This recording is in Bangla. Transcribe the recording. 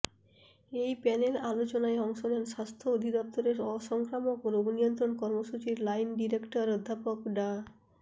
এই প্যানেল আলোচনায় অংশ নেন স্বাস্থ্য অধিদপ্তরের অসংক্রামক রোগনিয়ন্ত্রণ কর্মসূচির লাইন ডিরেক্টর অধ্যাপক ডা